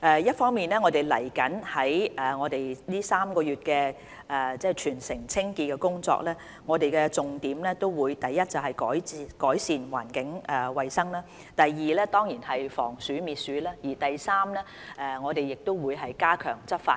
一方面，就未來3個月全城清潔工作的重點，第一，就是改善環境衞生；第二，當然是防鼠滅鼠；第三，我們會加強執法。